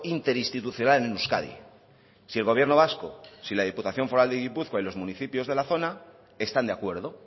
interinstitucional en euskadi si el gobierno vasco si la diputación foral de gipuzkoa y los municipios de la zona están de acuerdo